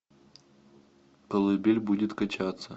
колыбель будет качаться